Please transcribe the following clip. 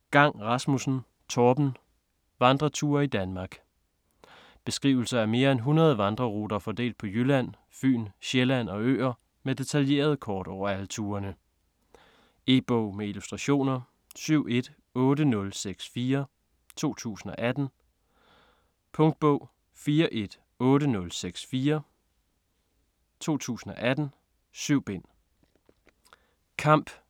Gang Rasmussen, Torben: Vandreture i Danmark Beskrivelser af mere end 100 vandreruter fordelt på Jylland, Fyn, Sjælland og øer med detaljerede kort over alle turene. E-bog med illustrationer 718064 2018. Punktbog 418064 2018. 7 bind.